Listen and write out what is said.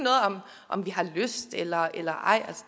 om vi har lyst eller eller ej